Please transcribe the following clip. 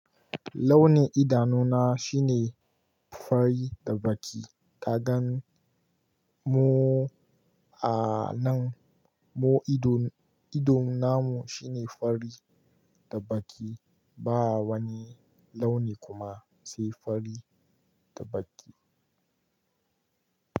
Launin idanuna shine fari da baƙi. Kagan mu a nan. Mu idon, idon namu shine fari da baƙi. Ba wani launi kuma sai fari da baƙi.